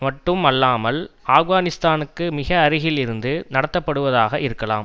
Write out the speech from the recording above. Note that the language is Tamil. மட்டும் அல்லாமல் ஆப்கானிஸ்தானுக்கு மிக அருகிலிருந்து நடத்தப்படுவதாக இருக்கலாம்